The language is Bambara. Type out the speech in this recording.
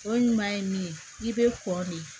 O ɲuman ye min ye i bɛ kɔ de